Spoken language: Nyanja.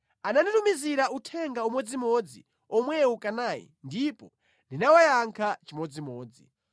Ananditumizira uthenga umodzimodzi omwewu kanayi ndipo ndinawayankha chimodzimodzi.